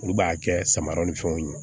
Olu b'a kɛ samara ni fɛnw ye